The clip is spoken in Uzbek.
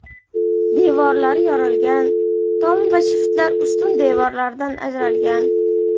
Devorlari yorilgan, tom va shiftlar ustun devorlardan ajralgan.